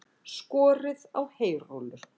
Skorið á heyrúllur